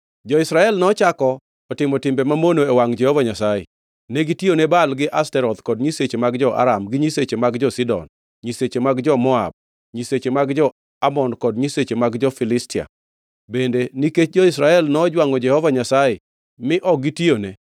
Jo-Israel nochako otimo timbe mamono e wangʼ Jehova Nyasaye. Negitiyone Baal gi Ashtoreth, kod nyiseche mag jo-Aram, gi nyiseche mag jo-Sidon, nyiseche mag jo-Moab, nyiseche mag jo-Amon kod nyiseche mag jo-Filistia. Bende nikech jo-Israel nojwangʼo Jehova Nyasaye mi ok gitiyone,